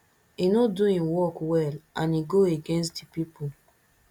e no do im work well and e go against di people